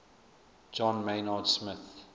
john maynard smith